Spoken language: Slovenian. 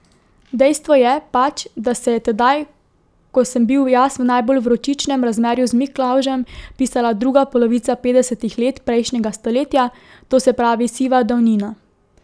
Dejstvo je pač, da se je tedaj, ko sem bil jaz v najbolj vročičnem razmerju z Miklavžem, pisala druga polovica petdesetih let prejšnjega stoletja, to se pravi siva davnina.